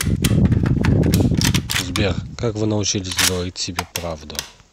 сбер как вы научились говорить себе правду